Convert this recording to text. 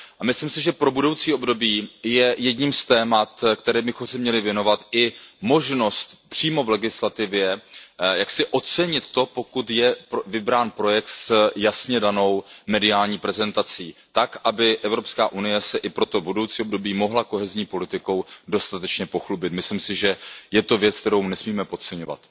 Myslím si, že pro budoucí období je jedním z témat, kterému bychom se měli věnovat, i možnost přímo v legislativě jaksi ocenit to, pokud je vybrán projekt s jasně danou mediální prezentací tak, aby EU se i pro to budoucí období mohla kohézní politikou dostatečně pochlubit. Myslím si, že je to věc, kterou nesmíme podceňovat.